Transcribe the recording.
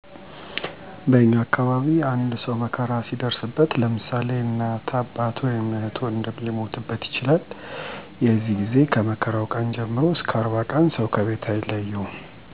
በእኛ አካባቢ አንድ ሰው መከራ ሲደርስበት ለምሳሌ እናት፣ አባት ወይም እህት ወንድም ሊሞትበት ይችላል የዚህ ጊዜ ከመከራው ቀን ጀምሮ እስከ 40 ቀን ሰው ከቤት አይለየውም/ያትም እዝን እየተዋጣ ምሳ ወይም እራት እዚያው እየተበላ ሰውየው/ሰትዮዋ ሀዘናቸውን እስኪረሱ ድረስ ሰው አይለያቸውም የሚወጣ እዳ ካለም በመረባረብ ተጋግዘው ያወጡታል ባለጉዳዩ ምንም ሳይጨነቅ ጉዳዩን ያወጣል በሌላ ጊዜ ለእነሱም ብድር ይከፍላል። ያው በየ አመቱ ስለሆነ የዚህ ጭንቀት የለውም።